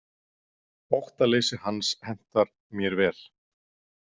Óttaleysi hans hentar mér vel.